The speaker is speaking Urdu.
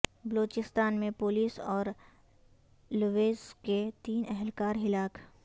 بلوچستان میں پولیس اور لیویز کے تین اہلکار ہلاک